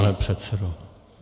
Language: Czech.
Pane předsedo...